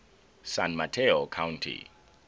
san mateo county